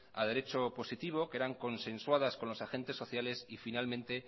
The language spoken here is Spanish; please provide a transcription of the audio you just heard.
a derecho positivo eran consensuadas con los agentes sociales y finalmente